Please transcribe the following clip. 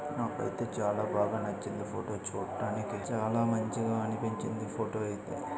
నాకైతే చాలా బాగా నచ్చింది ఫోటో చూడ్డానికి. చాలా మంచిగా అనిపించింది ఫోటో అయితే.